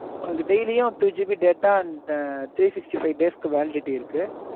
உங்களுக்கு daily யும் two GB data and three sixty five days க்கு validity இருக்கு